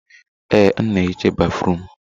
Ee, m na ehicha béfrụm.